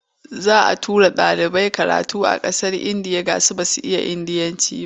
Za a tura ɗalibai karatu ƙasar Indiya gashi kuma ba su iya Indiyanci ba.